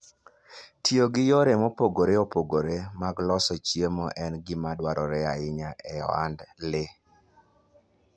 Tiyo gi yore mopogore opogore mag loso chiemo en gima dwarore ahinya e ohand le.